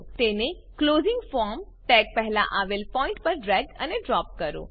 તેને closing form tag પહેલા આવેલ પોઈન્ટ પર ડ્રેગ અને ડ્રોપ કરો